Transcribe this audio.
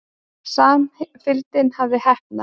Samfylgdin hafði heppnast.